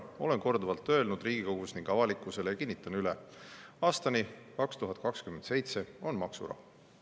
Olen korduvalt öelnud Riigikogus ning avalikkusele ja kinnitan üle: aastani 2027 on maksurahu.